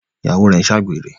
Ìyàwó rẹ n'se àgbèrè.